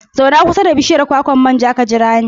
Zauna kusa da bishiyar kwakwar manja ka jira ni.